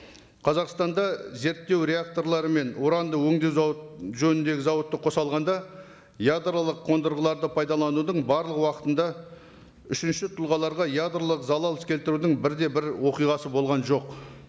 қазақстанда зерттеу реакторлары мен уранды өңдеу жөніндегі зауытты қоса алғанда ядролық қондырғыларды пайдаланудың барлық уақытында үшінші тұлғаларға ядролық залал келтірудің бірде бір оқиғасы болған жоқ